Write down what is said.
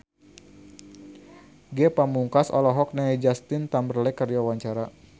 Ge Pamungkas olohok ningali Justin Timberlake keur diwawancara